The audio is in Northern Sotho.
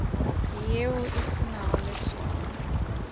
yeo e se nago leswao